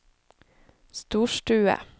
storstue